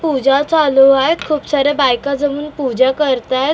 पूजा चालू आहे खूप साऱ्या बायका जमून पूजा करत आहेत .